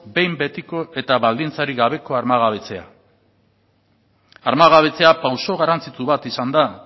behin betiko eta baldintzari gabeko armagabetzea armagabetzea pauso garrantzitsu bat izan da